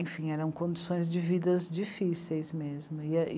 Enfim, eram condições de vidas difíceis mesmo. E